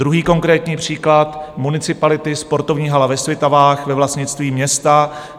Druhý konkrétní příklad municipality, sportovní hala ve Svitavách ve vlastnictví města.